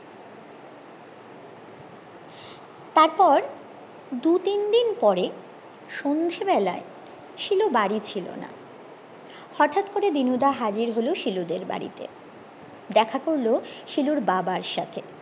তারপর দু তিনদিন পরে সন্ধে বেলায় শিলু বাড়ি ফিরলোনা হটাৎ করে দিনুদা হাজির হলো শিলু দেড় বাড়িতে দেখা করলো শিলুর বাবার সাথে